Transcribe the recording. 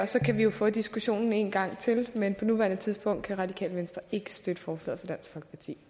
så kan vi jo få diskussionen en gang til men på nuværende tidspunkt kan radikale venstre ikke støtte forslaget